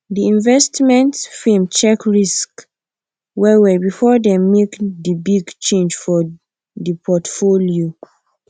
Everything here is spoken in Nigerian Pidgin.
di investment firm check risk wellwell before dem make di big change for di portfolio